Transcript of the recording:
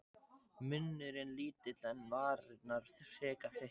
Munnurinn lítill en varirnar frekar þykkar.